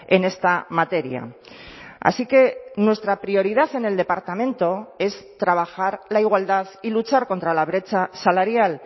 en esta materia así que nuestra prioridad en el departamento es trabajar la igualdad y luchar contra la brecha salarial